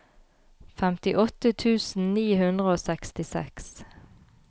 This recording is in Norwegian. femtiåtte tusen ni hundre og sekstiseks